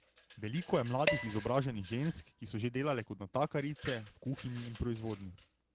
Veliko je mladih izobraženih žensk, ki so že delale kot natakarice, v kuhinji in proizvodnji.